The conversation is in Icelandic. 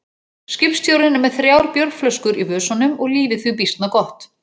Skipstjórinn er með þrjár bjórflöskur í vösunum og lífið því býsna gott.